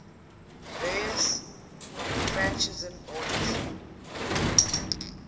various franciscan orders